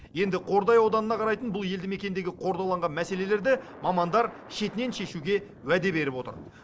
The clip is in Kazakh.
енді қордай ауданына қарайтын бұл елді мекендегі қордаланған мәселелерді мамандар шетінен шешуге уәде беріп отыр